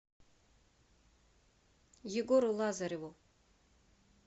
егору лазареву